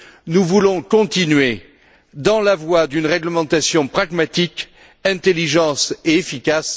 Nous voulons continuer dans la voie d'une réglementation pragmatique, intelligente et efficace.